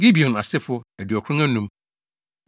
Gibeon asefo 2 95 1